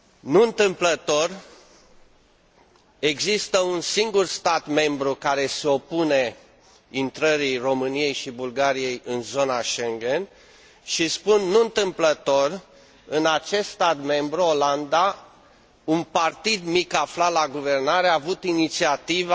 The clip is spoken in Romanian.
Nu întâmplător, există un singur stat membru care se opune intrării României și Bulgariei în zona Schengen și spun nu întâmplător în acest stat membru, Olanda, un partid mic aflat la guvernare a avut inițiativa